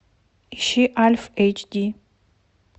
ищи альф эйч ди